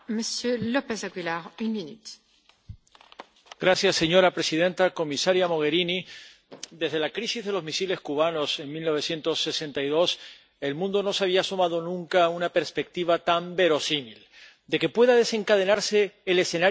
Señora presidenta, comisaria Mogherini, desde la crisis de los misiles cubanos en 1962, el mundo no se había asomado nunca a una perspectiva tan verosímil de que pueda desencadenarse el escenario apocalíptico de una tercera guerra mundial como consecuencia